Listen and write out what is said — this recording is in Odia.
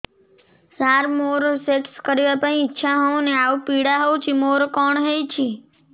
ସାର ମୋର ସେକ୍ସ କରିବା ପାଇଁ ଇଚ୍ଛା ହଉନି ଆଉ ପୀଡା ହଉଚି ମୋର କଣ ହେଇଛି